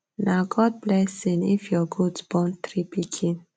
nah god blessing if your goat born three pikin